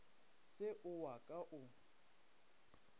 se ke wa ka o